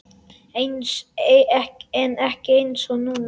En ekki einsog núna.